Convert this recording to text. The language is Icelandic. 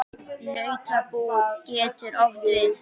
Nautabú getur átt við